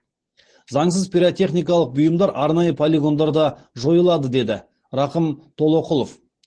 заңсыз пиротехникалық бұйымдар арнайы полигондарда жойылады деді рақым толоқұлов